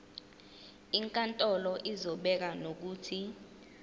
inkantolo izobeka nokuthi